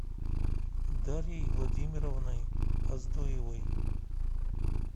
дарьей владимировной оздоевой